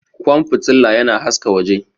Ƙwan fitila yana haska waje.